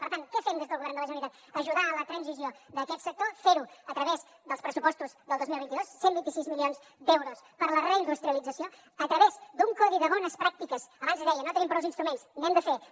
per tant què fem des del govern de la generalitat ajudar a la transició d’aquest sector fer ho a través dels pressupostos del dos mil vint dos cent i vint sis milions d’euros per a la reindustrialització a través d’un codi de bones pràctiques abans deia no tenim prous instruments n’hem de fer